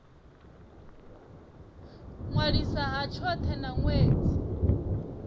ṅwaliswa ha tshothe na ṅwedzi